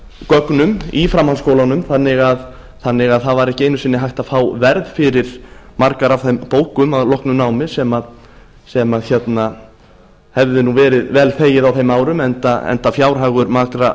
námsgögnum í framhaldsskólanum þannig að það var ekki einu sinni hægt að fá verð fyrir margar af þeim bókum að loknu námi sem hefði verið vel þegið á þeim árum enda fjárhagur margra